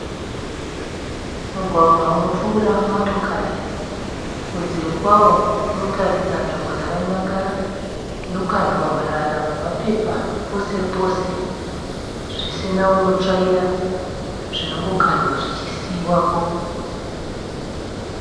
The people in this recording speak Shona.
Mugwagwa unopfuura motokari, kunze kwawo kunotaridza nzvimbo yakanyangara, inokandwa marara nemapa pose pose, zvisina unotsvaira, zvinongokandwa zvichisiiwapo.